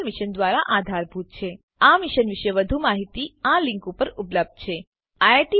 આ મિશન પર વધુ માહીતી આ લીંક પર ઉપલબ્ધ છે spoken hyphen tutorial dot org slash NMEICT hyphen intro